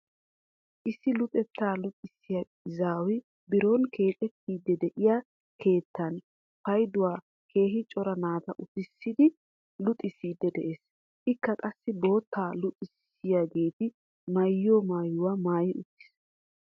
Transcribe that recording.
Issi luxettaa luxxisiyaa izaaway biron keexxettiidi de'iyaa keettan payduwaan keehi cora naata uttisidi luxxisiidi de'ees. ikka qassi bootta luxissiyaageti maayiyoo mayuwaa maayi uttiis.